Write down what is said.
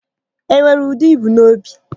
E nwere ude i bu n'obi?